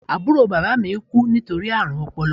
Àbúrò bàbá mi kú nítorí àrùn ọpọlọ